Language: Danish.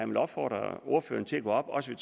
vil opfordre ordføreren til at gå op også